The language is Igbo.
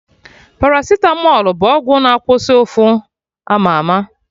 Paracitamọl bụ ọgwụ na-akwụsị ụfụ ama ama